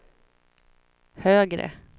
högre